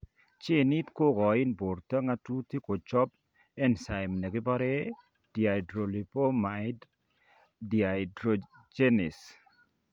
Genit ni kokoin borto ng'atutik kochob enzyme nekibore dihydrolipoamide dehydrogenase